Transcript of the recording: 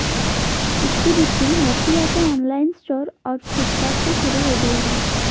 इसकी बिक्री नोकिया के ऑनलाइन स्टोर और फ्लिपकार्ट से शुरू हो गई है